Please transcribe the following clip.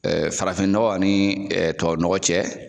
Farafin nɔgɔ ani tubabu nɔgɔ cɛ